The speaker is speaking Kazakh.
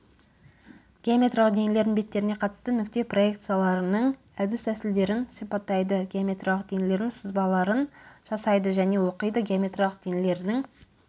геометриялық денелердің беттеріне қатысты нүкте проекцияларының әдіс-тәсілдерін сипаттайды геометриялық денелердің сызбаларын жасайды және оқиды геометриялық денелердің